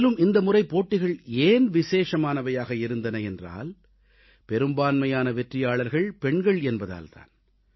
மேலும் இந்தமுறை போட்டிகள் ஏன் விசேஷமானவையாக இருந்தன என்றால் பெரும்பான்மையான வெற்றியாளர்கள் பெண்கள் என்பதால் தான்